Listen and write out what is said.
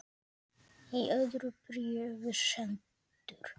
Í öðru bréfi sendur